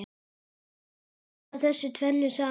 Að blanda þessu tvennu saman.